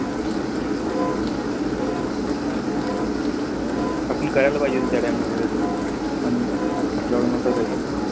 आपण करायला पाहिजे होती त्या time ला investment पण आपल्याकडे होत काई तस.